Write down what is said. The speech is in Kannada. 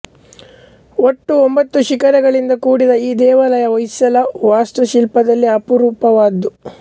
ಒಟ್ಟು ಒಂಬತ್ತು ಶಿಖರಗಳಿಂದ ಕೂಡಿದ ಈ ದೇವಾಲಯ ಹೊಯ್ಸಳ ವಾಸ್ತುಶಿಲ್ಪದಲ್ಲೇ ಅಪರೂಪವಾದ್ದು